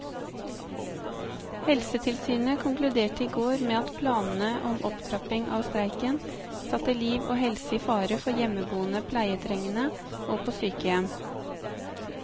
Helsetilsynet konkluderte i går med at planene om opptrapping av streiken satte liv og helse i fare for hjemmeboende pleietrengende og på sykehjem.